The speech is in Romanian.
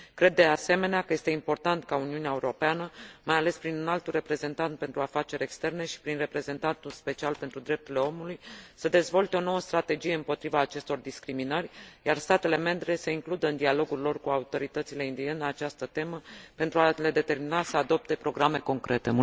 Cred, de asemenea, că este important ca Uniunea Europeană, mai ales prin Înaltul Reprezentant pentru afaceri externe și prin Reprezentantul special pentru drepturile omului, să dezvolte o nouă strategie împotriva acestor discriminări, iar statele membre să includă în dialogul lor cu autoritățile indiene această temă, pentru a le determina să adopte programe concrete.